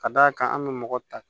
Ka d'a kan an bɛ mɔgɔ ta